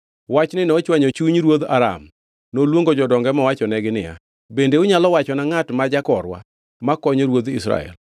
Wachni nochwanyo chuny ruodh Aram. Noluongo jodonge mowachonegi niya, “Bende unyalo wachona ngʼat ma jakorwa makonyo ruodh Israel?”